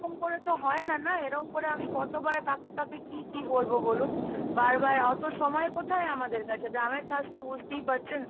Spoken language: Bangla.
করে তো হয় না, না? এরকম করে আমি কতবার কাকে কাকে কি, কি বলবো বলুন? বারবার অত সময় কোথায় আমাদের কাছে, গ্রামের কাজ তো বুঝতেই পারছেন।